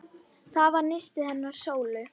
Það var nistið hennar Sólu.